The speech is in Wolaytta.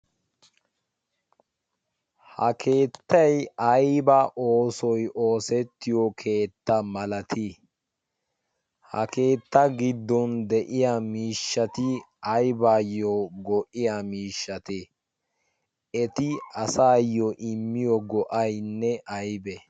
ha keettay ayba oosoy oosettiyo keetta malatii? ha keetta gidon de'iya miishshati aybaayo go'iya miishshatee? eti asaaayo immiyo go'aynne aybee?